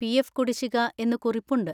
PF. കുടിശ്ശിക എന്ന് കുറിപ്പുണ്ട്.